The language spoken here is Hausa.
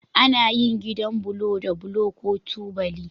Ana yin gidan bulo da bulo ko tubali.